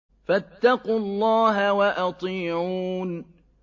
فَاتَّقُوا اللَّهَ وَأَطِيعُونِ